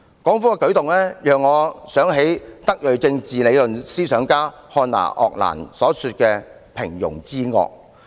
港府的舉動讓我想起德裔政治理論思想家漢娜.鄂蘭所說的"平庸之惡"。